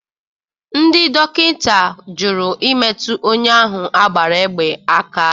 Ndị dọkịta jụrụ imetụ onye ahụ a gbara egbe aka.